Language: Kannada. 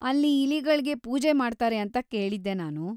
ಅಲ್ಲಿ ಇಲಿಗಳ್ಗೆ ಪೂಜೆ ಮಾಡ್ತಾರೆ ಅಂತ ಕೇಳಿದ್ದೆ ನಾನು!